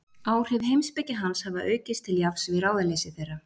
Áhrif heimspeki hans hafa aukist til jafns við ráðaleysi þeirra.